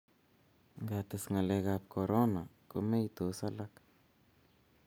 nga ates ngalek ab korona ko meitos alak